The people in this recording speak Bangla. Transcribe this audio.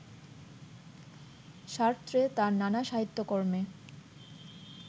সার্ত্রে তার নানা সাহিত্য কর্মে